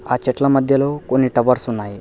ఆ చెట్ల మధ్యలో కొన్ని టవర్స్ ఉన్నాయి.